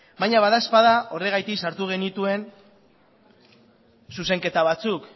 baina badaezpada horregatik sartu genituen zuzenketa batzuk